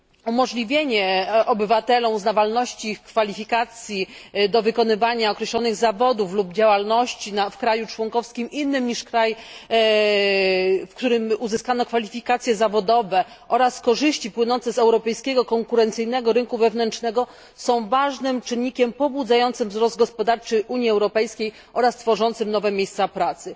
Umożliwienie obywatelom uznawalności ich kwalifikacji do wykonywania określonych zawodów lub działalności w państwie członkowskim innym niż państwo, w którym uzyskano kwalifikacje zawodowe oraz korzyści płynące z europejskiego konkurencyjnego rynku wewnętrznego są ważnym czynnikiem pobudzającym wzrost gospodarczy Unii Europejskiej oraz tworzącym nowe miejsca pracy.